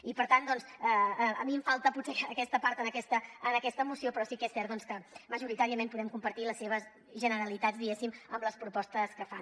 i per tant doncs a mi em falta potser aquesta part en aquesta moció però sí que és cert que majoritàriament podem compartir les seves generalitats diguéssim amb les propostes que fan